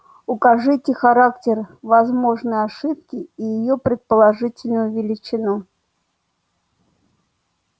укажите характер возможной ошибки и её предположительную величину